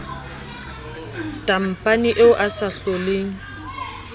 tampane eo a sa hloleng